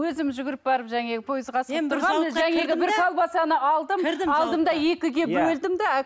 өзім жүгіріп барып жаңағы алдым да екіге бөлдім де